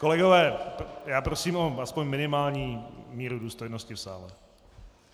Kolegové, já prosím aspoň o minimální míru důstojnosti v sále.